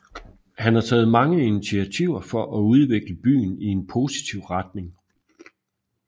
Han har taget mange initiativer for at udvikle byen i en positiv retning